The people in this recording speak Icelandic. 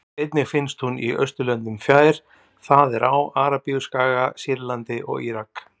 Einnig finnst hún í Austurlöndum nær, það er á Arabíuskaga, Sýrlandi og Írak.